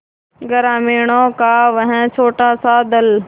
ग्रामीणों का वह छोटासा दल